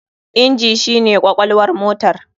Inji shi ne kwakwalwar motar.